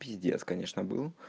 пиздец конечно был